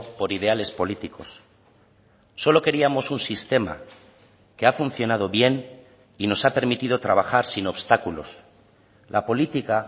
por ideales políticos solo queríamos un sistema que ha funcionado bien y nos ha permitido trabajar sin obstáculos la política